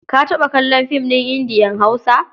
Ka taɓa kallon fim ɗin Indiya-Hausa?